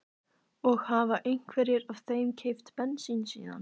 Og hafa einhverjir af þeim keypt bensín síðan